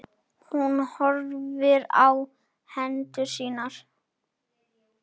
Hún horfir á hendur sínar.